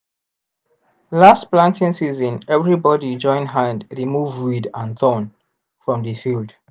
last planting season everybody join hand remove weed and thorn from the field